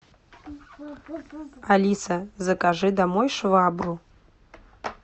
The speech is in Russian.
алиса закажи домой швабру